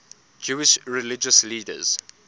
jewish religious leaders